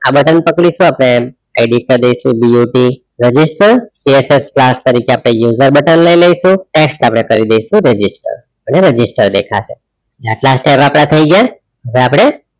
આ button પકડીશુ આપડે edit કરિદેસુ but register jsx class તરીકે આપણે user button લઇ લઇસુ text આપડે કરિદેસુ register અને register દેખાશે એટલા step આપડા થયી ગયા હવે આપણે